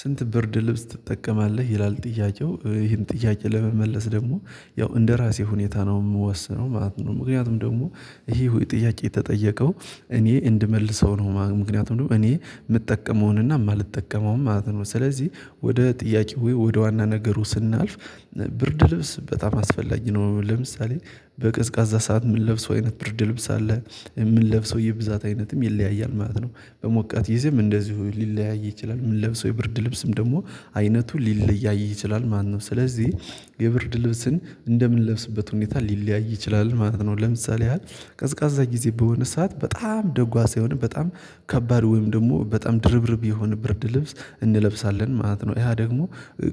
ስንት ብርድ ልብስ ትጠቀማለህ ይላል ጥያቄው ይሄን ጥያቄ ለመመለስ ደግሞ ያው እንደራሴ ሁኔታ ነው ምወስነው ማለት ነው ምክንያቱም ደግሞ ይሄ ጥያቄ የተጠየቀው እኔ እንድመልሰው ነው ምክንያቱም ደግሞ እኔ ምጠቀመውንና ማልጠቀመውን ማለት ነው ስለዚህ ወደ ጥያቄው ወደ ዋና ነገሩ ስናልፍ ብርድ ልብስ በጣም አስፈላጊ ነው። ለምሳሌ በቀዝቃዛ ሰዓት ምንለብሰው አይነት ብርድ ልብስ አለ። ምንለብሰው የብዛት አይነትም ይለያያል ማለት ነው። በሞቃት ጊዜም እንደዚሁ ሊለያይ ይችላል ምንለብሰው የብርድ ልብስም ደግሞ አይነቱ ሊለያይ ይችላል ማነው ነው ስለዚህ የብርድ ልብስን እንደምንለብስበት ሁኔታ ሊለያይ ይችላል ማለት ነው። ለምሳሌ ያህል ቀዝቃዛ ጊዜ በሆነ ሰዓት በጣም ደጓሳ የሆነ በጣም ከባድ ወይም ደግሞ በጣም ድርብርብ የሆነ ብርድ ልብስ እንለብሳለን ማለት ነው። ያ ደግሞ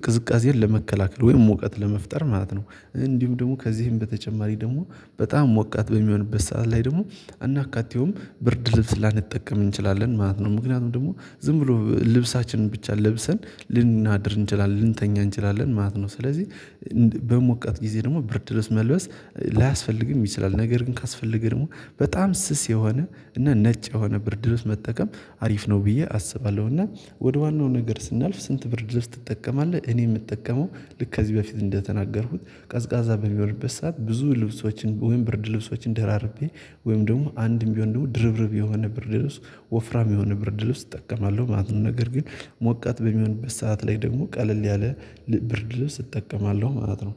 ቅዝቃዜን ለመከላከል ወይም ሙቀት ለመፍጠር ማለት ነው እንዲሁ ደግሞ ከዚህም በተጨማሪ ደግሞ በጣም ሞቃት በሚሆንበት ሰዓት ላይ ደግሞ ከናካቴውም ብርድ ልብስ ላንጠቀም እንችላለን ማለት ነው ምክንያቱም ደግሞ ዝም ብሎ ልብሳችንን ብቻ ለብሰን ልናድር እንችላለን ልንተኛ እንችላለን ማለት ነው። ስለዚህ በሞቀት ጊዜ ደግሞ ብርድ ልብስ መልበስ ላያስፈልግም ይችላል ነገር ግን ካስፈልገህ ደግሞ በጣም ስስ የሆነ እና ነጭ የሆነ ብርድ ልብስ መጠቀም አሪፍ ነው ብዬ አስባለሁ። እና ወደ ዋናው ነገር ስናልፍ ስንት ብርድ ልብስ ትጠቀማለህ? እኔ ምጠቀመው ልክ ከዚህ በፊት እንደተናገርኩት ቀዝቃዛ በሚሆንበት ሰዓት ብዙ ልብሶችን ወይም ብርድ ልብሶችን ደራርቤ ወይም ደግሞ አንድም ቢሆን ደግሞ ድርብርብ የሆነ ብርድ ልብስ ወፍራም የሆነ ብርድ ልብስ እጠቀማለሁ ማለት ነው። ነገር ግን ሞቃት በሚሆንበት ሰዓት ላይ ደግሞ ቀለል ያለ ብርድ ልብስ እጠቀማለሁ ማለት ነው።